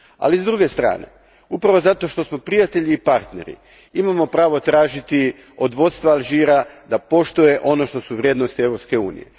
Ali s druge strane, upravo zato što smo prijatelji i partneri imamo pravo tražiti od vodstva Alžira da poštuje ono što su vrijednosti Europske unije.